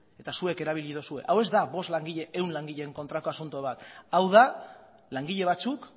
eta zuek erabili duzue hau ez da bost langile ehun langileen kontrako asunto bat hau da langile batzuk